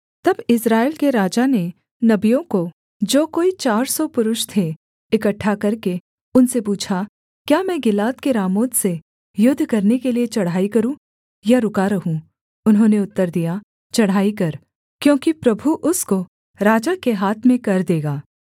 तब इस्राएल के राजा ने नबियों को जो कोई चार सौ पुरुष थे इकट्ठा करके उनसे पूछा क्या मैं गिलाद के रामोत से युद्ध करने के लिये चढ़ाई करूँ या रुका रहूँ उन्होंने उत्तर दिया चढ़ाई कर क्योंकि प्रभु उसको राजा के हाथ में कर देगा